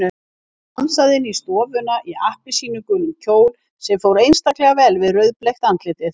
Hún dansaði inn í stofuna í appelsínugulum kjól sem fór einstaklega vel við rauðbleikt andlitið.